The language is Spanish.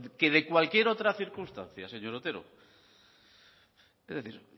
que de cualquier otra circunstancia señor otero es decir